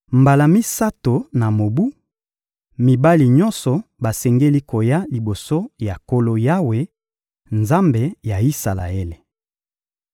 Mbala misato na mobu, mibali nyonso basengeli koya liboso ya Nkolo Yawe, Nzambe ya Isalaele.